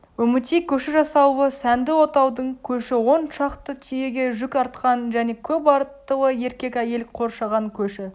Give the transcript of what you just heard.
үмітей көші жасаулы сәнді отаудың көші он шақты түйеге жүк артқан және көп аттылы еркек-әйел қоршаған көші